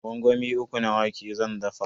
Gwangwami uku na wake zan dafa.